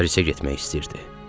Parisə getmək istəyirdi.